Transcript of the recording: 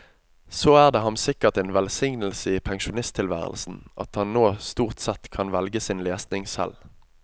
Så er det ham sikkert en velsignelse i pensjonstilværelsen at han nå stort sett kan velge sin lesning selv.